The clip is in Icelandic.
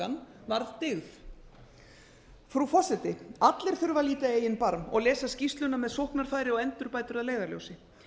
sjálftakan var dyggð frú forseti allir þurfa að líta í eigin barm og lesa skýrsluna með sóknarfæri og endurbætur að leiðarljósi